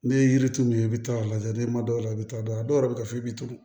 N'i ye yiri turu yen i bɛ taa a lajɛ n'i ma dɔw la i bɛ taa dɔ yɛrɛ bɛ ka fɔ i bɛ turu